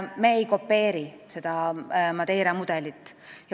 Me ei kopeeri seda Madeira mudelit.